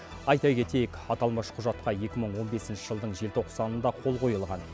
айта кетейік аталмыш құжатқа екі мың он бесінші жылдың желтоқсанында қол қойылған